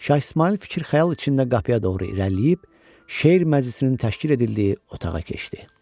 Şah İsmayıl fikir-xəyal içində qapıya doğru irəliləyib, Şeir məclisinin təşkil edildiyi otağa keçdi.